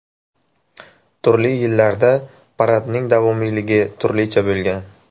Turli yillarda paradning davomiyligi turlicha bo‘lgan.